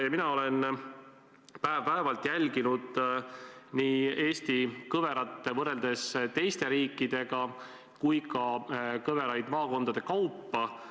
Mina olen päev-päevalt jälginud nii Eesti kõverat võrreldes teiste riikidega ja ka kõveraid maakondade kaupa.